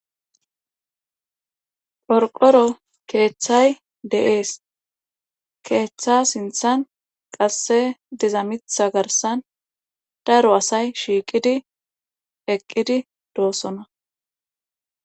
Qorqqoro keethay de7ees keetha sinthan qasse diza mitha garssan daro asay shiiqisi eqqidi doosona.